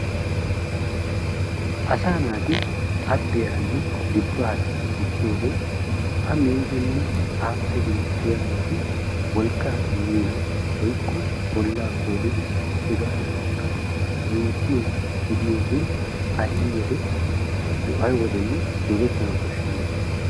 Asaa naati abboyaaranne dibbaara dichchiyogee A miidinne aappe beettiyabati wolqqaa immiina woykko bollaa koolidi hegaadankka minttiya gidiyogee aywodenne doggettana koshshenna.